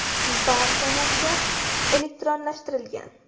Barcha narsa elektronlashtirilgan.